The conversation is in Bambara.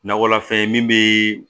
Nakɔlafɛn min be